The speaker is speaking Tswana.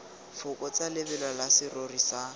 fokotsa lebelo la serori sa